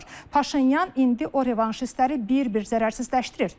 Paşinyan indi o revanşistləri bir-bir zərərsizləşdirir.